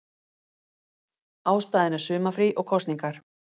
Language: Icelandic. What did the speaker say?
Ástæðan er sumarfrí og kosningar